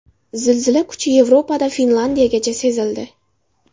Zilzila kuchi Yevropada Finlandiyagacha sezildi.